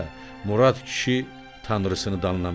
Murad kişi Tanrısını danlamışdı.